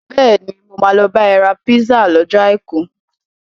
Bẹ́ẹ̀ni, mo máa lè lọ bá ẹ ra písà lọ́jọ́ Àìkú.